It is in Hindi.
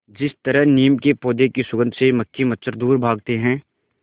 जिस तरह नीम के पौधे की सुगंध से मक्खी मच्छर दूर भागते हैं